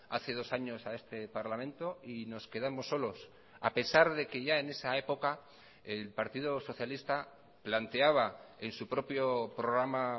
hace dos años a este parlamento y nos quedamos solos a pesar de que ya en esa época el partido socialista planteaba en su propio programa